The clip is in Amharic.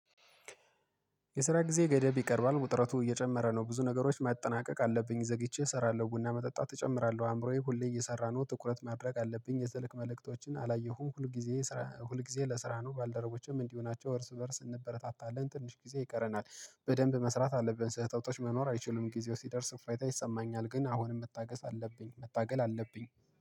የስራ ጊዜ ገደብ ይቀርባል ውጥረቱ እየጨመረ ነው። ብዙ ነገሮች ማጠናቀቅ አለብኝ ዘግቼ እሰራለሁ ቡና መጠጣት እጨምራለሁ። አእምሮዬ ሁሌ እየሰራ ነው ትኩረት ማድረግ አለብኝ የስልክ መልእክቶችን አላየሁም። ሁል ጊዜ ሁል ጊዜ ለስራ ነው። ባልደረጎችም እንዲህ ሆናቸው እርስ በእርስ እንበረታታለን ትንሽ ጊዜ ይቀረናል። በደንብ መስራት አለብን ስህተቶች መኖር አይችሉም። ጊዜው ሲደርስ ፋይታ ይሰማኛል። ግን አሁንም መታገስ አለብኝ መታገል አለብኝ